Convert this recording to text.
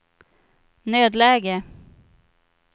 nödläge